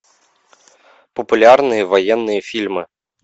популярные военные фильмы